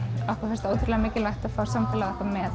okkur finnst ótrúlega mikilvægt að fá samfélagið með